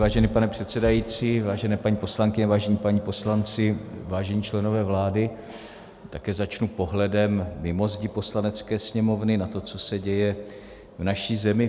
Vážený pane předsedající, vážené paní poslankyně, vážení páni poslanci, vážení členové vlády, také začnu pohledem mimo zdi Poslanecké sněmovny na to, co se děje v naší zemi.